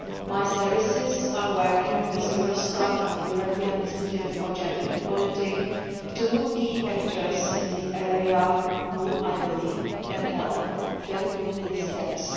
My services are working with Eurostat and the European Institute for Gender Equality, two key actors in the area which I believe can help fill these gaps.